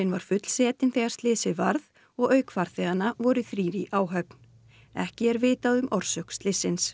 var fullsetin þegar slysið varð og auk farþeganna voru þrír í áhöfn ekki er vitað um orsök slyssins